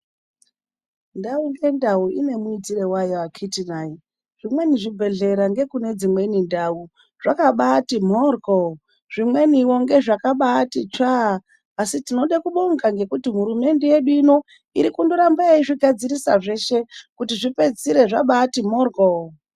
Ndau ndendau ine mwuitire wayo akiti naye. Zvimweni zvibhedhlera ngekune dzimweni ndau, zvakabati mhoryo. Zvimweniwo ngezvakabati tsvaa. Asi tinoda kubonga ngekuti hurumende yedu ino iri kundoramba eizvigadzirisa zveshe, kuti zvipedzisire zvabati mhoryo.